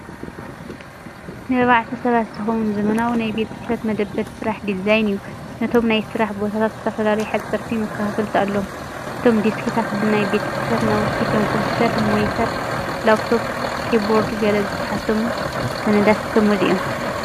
ንኣርባዕተ ሰባት ዝኸውን ዘመናዊ ናይ ቤት ጽሕፈት መደበር ስራሕ ዲዛይን እዩ። ነቶም ናይ ስራሕ ቦታታት ዝፈላልዩ ሓጸርቲ መከፋፈልቲ ኣለዎም። እቶም ዴስክታት ብናይ ቤት ጽሕፈት ናውቲ ከም ኮምፒተር ሞኒተር፡ ላፕቶፕ፡ ኪቦርድን ገለ ዝተሓትሙ ሰነዳትን ዝተመልኡ እዮም።